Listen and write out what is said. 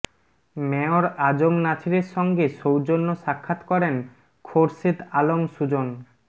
mayor আ জ ম নাছিরের সঙ্গে সৌজন্য সাক্ষাৎ করেন খোরশেদ আলম সুজন